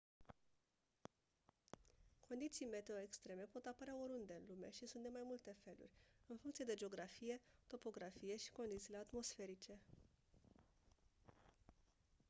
condiții meteo extreme pot apărea oriunde în lume și sunt de mai multe feluri în funcție de geografie topografie și condițiile atmosferice